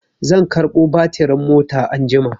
Zan karɓo batirin mota anjima.